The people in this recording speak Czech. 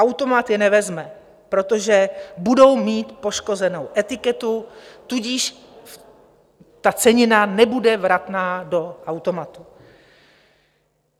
Automat je nevezme, protože budou mít poškozenou etiketu, tudíž ta cenina nebude vratná do automatu.